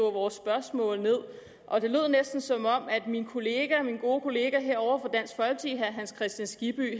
vores spørgsmål ned og det lød næsten som om min gode kollega herovre herre hans kristian skibby